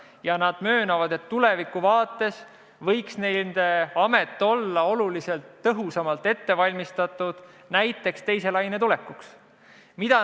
Ja nad möönavad, et tulevikku vaadates võiks nende amet olla oluliselt tõhusamalt ette valmistatud, näiteks teise laine tulekuks.